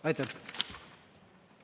Aitäh!